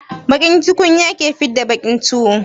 Baƙin tukunya ke fidda baƙin tuwo.